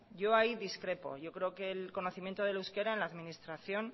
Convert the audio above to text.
yo ahí discrepo yo creo que el conocimiento del euskera en la administración